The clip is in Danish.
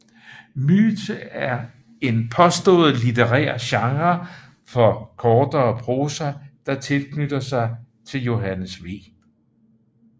Myte er en påstået litterær genre for kortere prosa der knytter sig til Johannes V